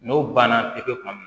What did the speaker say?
N'o banna pepe kuma min